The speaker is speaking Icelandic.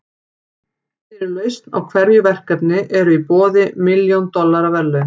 Fyrir lausn á hverju verkefni eru í boði milljón dollara verðlaun.